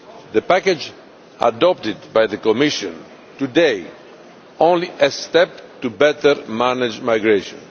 The package adopted by the Commission today is only a step to better manage migration.